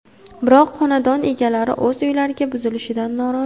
Biroq, xonadon egalari o‘z uylari buzilishidan norozi.